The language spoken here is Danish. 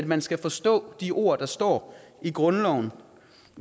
man skal forstå de ord der står i grundloven